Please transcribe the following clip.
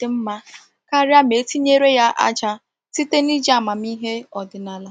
dị mma karịa ma e tinyere aja, site n’iji amamihe ọdịnala.